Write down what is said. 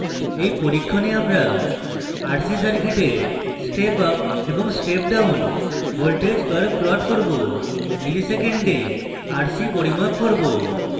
in পরীক্ষণে আমরা